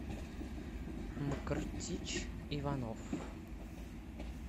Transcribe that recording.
мкртич иванов